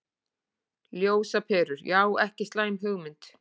Ljósaperur, já ekki slæm hugmynd.